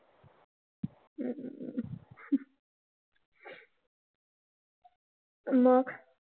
मग?